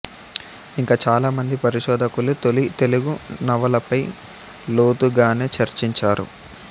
ఇంకా చాలామంది పరిశోధకులు తొలి తెలుగు నవలపై లోతుగానే చర్చించారు